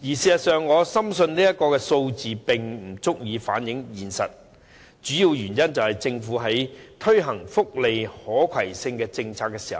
事實上，我深信這數字不足以反映現實，主要原因是政府在推行福利可攜性政策時